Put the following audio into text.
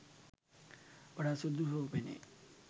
වඩාත් සුදුසු බව පෙනේ